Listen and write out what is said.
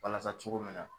Walasa cogo min na